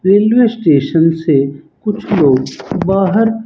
English station से कुछ लोग बाहर--